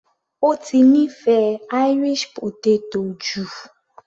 Ó ti nífẹ̀ẹ́ Irish potato jù